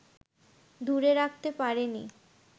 দূরে রাখতে পারেনি